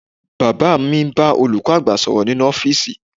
Bàbá mi ń bá olùkọ́ àgbà sọ̀rọ̀ nínú ọ́fíìsì